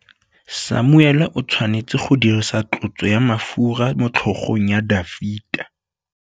Samuele o tshwanetse go dirisa tlotsô ya mafura motlhôgong ya Dafita.